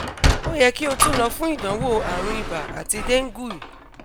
o yẹ ki o tun lọ fun idanwo arun iba ati dengue